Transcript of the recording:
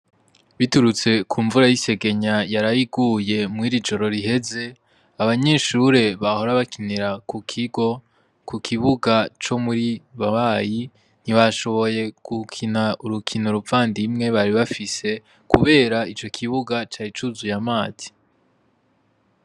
Biturutse ku mvura y' isegenye yaraye iguye mwiri joro riheze abanyeshure bahora bakinira ku kigo ku kibuga co muri babayi ntibashoboye gukina urukino ruvandimwe bari bafise kubera ico kibuga cari cuzuye amazi.